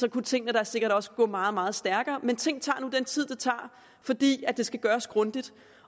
at tingene da sikkert også kunne gå meget meget stærkere men ting tager nu den tid de tager fordi det skal gøres grundigt